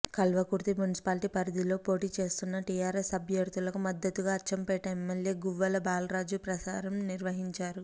Kalwakurthy municipality పరిధిలో పోటీ చేస్తున్న టీఆర్ఎస్ అభ్యర్థులకు మద్దతుగా అచ్చంపేట ఎమ్మెల్యే గువ్వల బాలరాజు ప్రచారం నిర్వహించారు